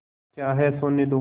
क्या है सोने दो